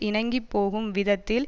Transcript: இணங்கி போகும் விதத்தில்